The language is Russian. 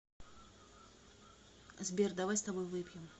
сбер давай с тобой выпьем